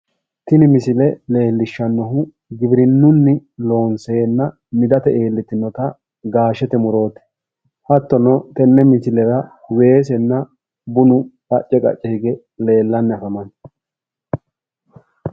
kunni misile leellishanohu giwirinnuni loonsena middate illitiinotta gashshete muroti hattono tenne misilera weesenna bunu qacce qacce higge leellanni affamanno